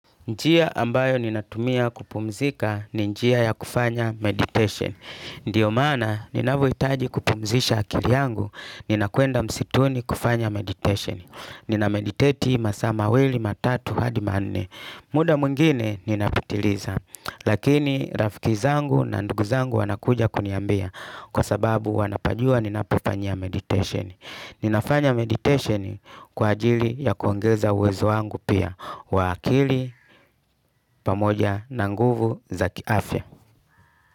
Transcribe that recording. Njia ambayo ninatumia kupumzika, ni njia ya kufanya meditation. Ndio maana, ninavoitaji kupumzisha akili yangu, ninakwenda msituni kufanya meditation. Ninameditate masaa mawili, matatu, hadi manne. Muda mwingine, ninapitiliza. Lakini, rafiki zangu na ndugu zangu wanakuja kuniambia. Kwa sababu, wanapajua ninapofanyia meditation. Ninafanya meditation kwa ajili ya kuongeza uwezo wangu pia. Wa akili pamoja na nguvu za kiafya.